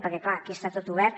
perquè clar aquí està tot obert